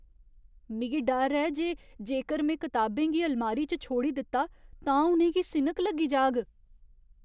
मिगी डर ऐ जे जेकर में कताबें गी अलमारी च छोड़ी दित्ता, तां उ'नेंगी सिनक लग्गी जाग।